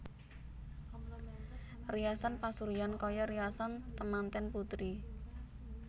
Riasan pasuryan kaya riasan temanten putri